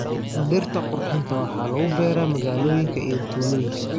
Dhirta qurxinta waxaa lagu beeraa magaalooyinka iyo tuulooyinka.